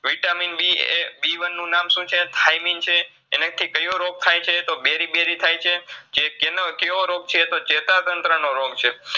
VitaminB એ BONE નું નામ શુંછે તો Thymin છે એનેથી કયો રોગ થાય છે તો berybery થાયછે ચે કેનો કેવો રોગ છે તો ચેતાતંત્રનો રોગ છે